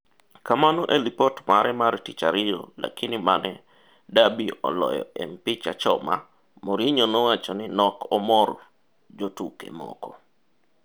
kamano ei lipot mare mar tich ariyo Lakini mane Derby oloyo e mpich achoma , Mourinho nowacho ni nok omor jotuke moko.